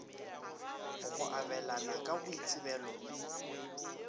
go abelana ka boitsebelo le